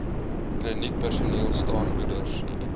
kliniekpersoneel staan moeders